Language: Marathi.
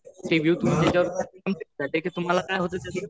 तुम्हाला काय होत त्याचे